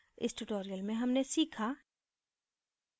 इस tutorial में हमने सीखा